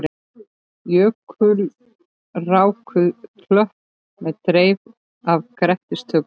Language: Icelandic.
Jökulrákuð klöpp með dreif af grettistökum.